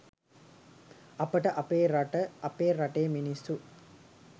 අපට අපේ රට අපේ රටේ මිනිස්සු